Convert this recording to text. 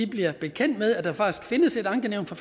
bliver bekendt med at der faktisk findes et ankenævn for